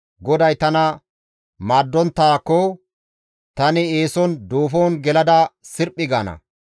GODAY tana maaddonttaakko, tani eeson duufon gelada sirphi gaana.